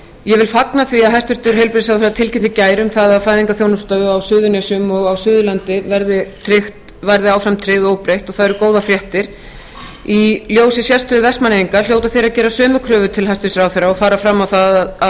ég vil fagna því að hæstvirtur heilbrigðisráðherra tilkynnti í gær um það að fæðingarþjónustu á suðurnesjum og á suðurlandi verði áfram tryggð óbreytt og það eru góðar fréttir í ljósi sérstöðu vestmannaeyinga hljóta þeir að gera sömu kröfu til hæstvirts ráðherra og fara fram á það að